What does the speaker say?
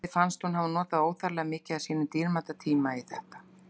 Gerði fannst hún hafa notað óþarflega mikið af sínum síðasta dýrmæta tíma í þetta.